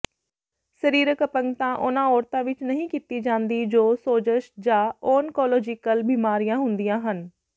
ਸਰੀਰਕ ਅਪੰਗਤਾ ਉਹਨਾਂ ਔਰਤਾਂ ਵਿੱਚ ਨਹੀਂ ਕੀਤੀ ਜਾਂਦੀ ਜੋ ਸੋਜਸ਼ ਜਾਂ ਓਨਕੌਲੋਜੀਕਲ ਬਿਮਾਰੀਆਂ ਹੁੰਦੀਆਂ ਹਨ